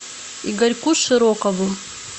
игорьку широкову